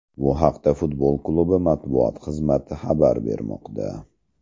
Bu haqda futbol klubi matbuot xizmati xabar bermoqda .